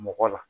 Mɔgɔ la